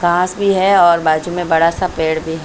घास भी है और बाजू में बड़ा सा पेड़ भी--